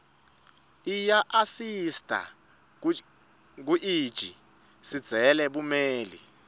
iyaasisita kuiji sindzele bumeli